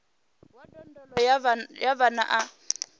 wa ndondolo ya vhana a